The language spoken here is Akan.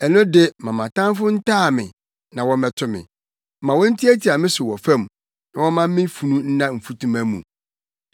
ɛno de ma mʼatamfo ntaa me na wɔmmɛto me; ma wontiatia me so wɔ fam, na wɔmma me funu nna mfutuma mu.